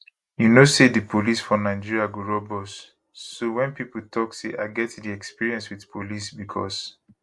you know say di police for nigeria go rob us so wen pipo tok say i get di experience wit police becos